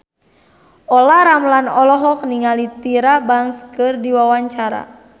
Olla Ramlan olohok ningali Tyra Banks keur diwawancara